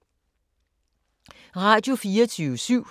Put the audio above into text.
Radio24syv